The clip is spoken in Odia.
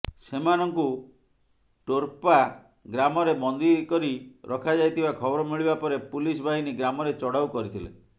ସେମାନଙ୍କୁ ଟୋର୍ପା ଗ୍ରାମରେ ବନ୍ଦୀ କରି ରଖାଯାଇଥିବା ଖବର ମିଳିବା ପରେ ପୁଲିସ ବାହିନୀ ଗ୍ରାମରେ ଚଢ଼ଉ କରିଥିଲେ